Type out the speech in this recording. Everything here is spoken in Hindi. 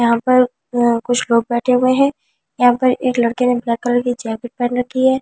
यहाँ पर कुछ लोग बैठे हुए है यहाँ पर एक लड़के ने ब्लैक कलर की जैकेट पहन रखी है रेड कलर ।